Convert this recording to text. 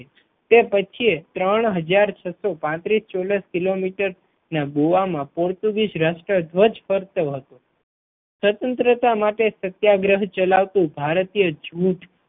તે પછી એ ત્રણ હજાર છસો પાંત્રીસ ચોરસ કિલોમીટર ના ગોવા મા પોર્ટુગીઝ રાષ્ટ્રધ્વજ ફરકતો હતો સ્વતંત્રા માટે સત્યાગ્રહ ચલાવતું ભારતીય જૂથ